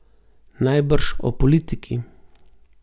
Najbrž o politiki.